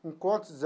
Com quantos